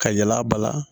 Ka yɛlɛ a ba la